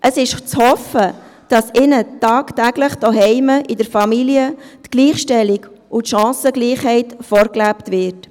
Es ist zu hoffen, dass ihnen tagtäglich zu Hause in der Familie Gleichstellung und Chancengleichheit vorgelebt wird.